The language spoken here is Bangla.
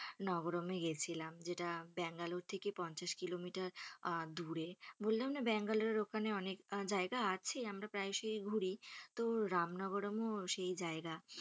নবরমে গেছিলাম যেটা বেঙ্গালোর থেকে পঞ্চাশ কিলোমিটার আহ দুরে বললাম না বেঙ্গালোরের ওখানে অনেক জায়গা আছে আমরা প্রায় সই ঘুরি তো রামনবরমও সেই জায়গা।